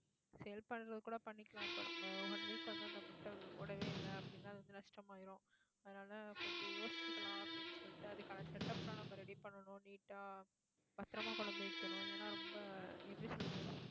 sale பண்றது கூட பண்ணிக்கலாம். ஆஹ் நம்ம one week வந்து, அந்த முட்டை ஓடவே இல்லை. அப்படின்னா அது வந்து நஷ்டமாயிரும் அதனால கொஞ்சம் யோசிக்கலாம், அப்படின்னு சொல்லிட்டு அதுக்கான setup எல்லாம், நம்ம ready பண்ணணும் neat ஆ பத்திரமா கொண்டு வந்து வைக்கணும். ஏன்னா, ரொம்ப எப்படி சொல்றது